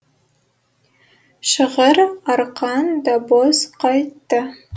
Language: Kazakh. шығыр арқан да бос қайтты